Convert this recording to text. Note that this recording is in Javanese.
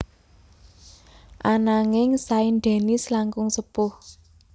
Ananging Saint Denis langkung sepuh